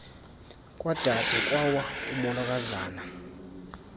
kwade kwawa umolokazana